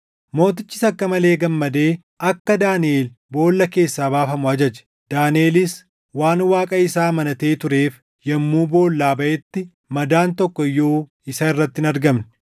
Mootichis akka malee gammadee akka Daaniʼel boolla keessaa baafamu ajaje. Daaniʼelis waan Waaqa isaa amanatee tureef yommuu boollaa baʼetti madaan tokko iyyuu isa irratti hin argamne.